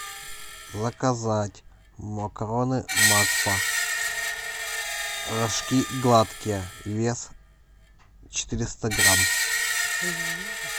заказать макароны макфа рожки гладкие вес четыреста грамм